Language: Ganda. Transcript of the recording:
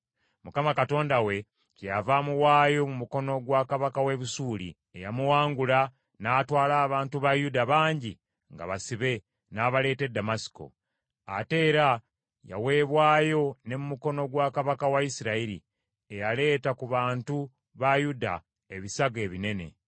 Mukama Katonda we kyeyava amuwaayo mu mukono gwa kabaka w’e Busuuli, eyamuwangula n’atwala abantu ba Yuda bangi nga basibe, n’abaleeta e Ddamasiko. Ate era yaweebwayo ne mu mukono gwa kabaka wa Isirayiri, eyaleeta ku bantu ba Yuda ebisago ebinene.